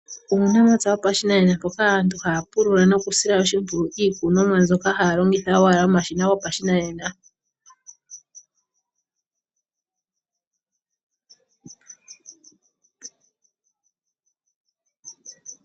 Uunamapya wopashinanena mpoka aantu haya pulula nokusila oshimpwiyu iikononwa mbyoka haya longitha owala omashina go pashinanena.